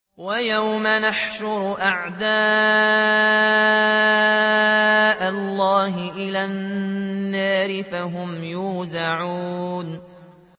وَيَوْمَ يُحْشَرُ أَعْدَاءُ اللَّهِ إِلَى النَّارِ فَهُمْ يُوزَعُونَ